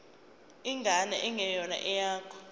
ingane engeyona eyakho